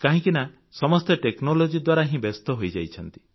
କାହିଁକି ନା ସମସ୍ତେ ଟେକ୍ନୋଲୋଜି ଦ୍ୱାରା ହିଁ ବ୍ୟସ୍ତ ହୋଇଯାଇଛନ୍ତି